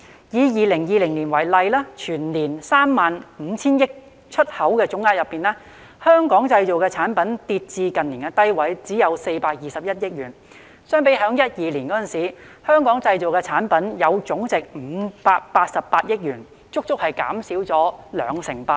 以2020年為例，全年 35,000 億元的出口總額當中，"香港製造"產品總值跌至近年低位，只有421億元，相比2012年，"香港製造"產品總值達588億元，足足減少了兩成八。